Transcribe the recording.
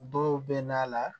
Dɔw bɛ na a la